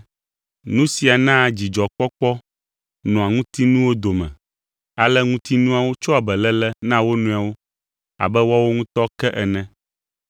Nu sia naa dzidzɔkpɔkpɔ nɔa ŋutinuwo dome, ale ŋutinuawo tsɔa beléle na wo nɔewo abe woawo ŋutɔ ke ene.